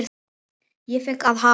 Ég fékk að hafa